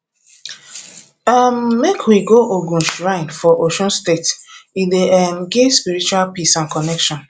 um make we go ogun shrine for osun state e dey um give spiritual peace and connection